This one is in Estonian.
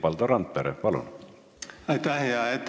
Valdo Randpere, palun!